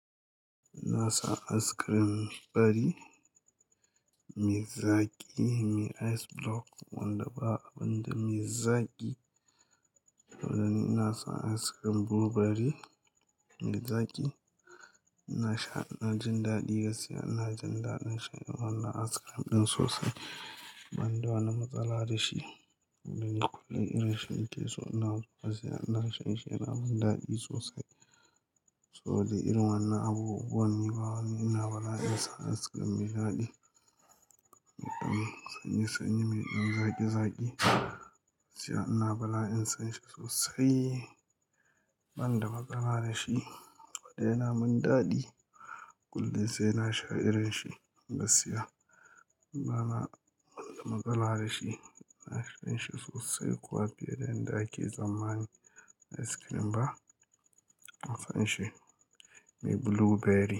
Ina son ice cream fari, me zaƙi, me ice block wanda ba abinda me zaƙi. To dai ina son ice cream blueberry me zaƙi. Ina sha, ina jin daɗi gaskiya. Ina jin daɗin shan wannan ice cream ɗin sosai banda wani matsala da shi. To dai kullum irin shi nake so. Ina so gaskiya, ina shan shi, yana min daɗi sosai. To dai irin wannan abubuwan ni bawani, ina bala'in san ice cream me daɗi, sanyi-sanyi, me ɗan zaƙi-zaƙi. Gaskiya ina bala'in san shi sosai banda matsala da shi. Saboda yana min daɗi kullum sai na sha irin shi gaskiya. Bana wani matsala da shi, ina shan shi sosai. Ko a fiye da yadda ake tsammani ice cream ba, ina san shi. Me blueberry.